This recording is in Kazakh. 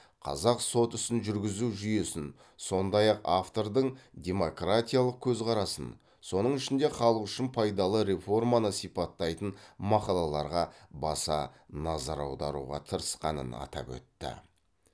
қазақ сот ісін жүргізу жүйесін сондай ақ автордың демократиялық көзқарасын соның ішінде халық үшін пайдалы реформаны сипаттайтын мақалаларға баса назар аударуға тырысқанын атап өтті